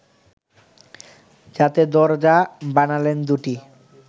যাতে দরজা বানালেন দু’টি